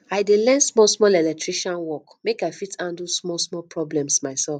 i dey learn small small electrical work make i fit handle small small problems myself